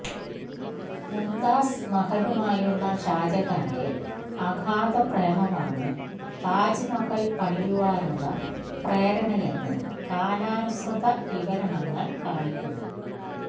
മുംതാസ് മഹലുമായുള്ള ഷാജഹാന്റെ അഗാധ പ്രേമമാണ് താജ് മഹൽ പണിയുവാനുള്ള പ്രേരണയെന്ന് കാലാനുസൃതവിവരണങ്ങൾ കാണിക്കുന്നു